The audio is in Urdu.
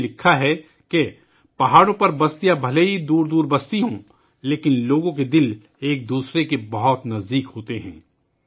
انہوں نے لکھا کہ پہاڑوں پر بستیاں بھلے ہی دور دور بستی ہیں لیکن لوگوں کے دل ایک دوسرے کے بہت قریب ہوتے ہیں